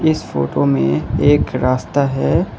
इस फोटो में एक रास्ता है।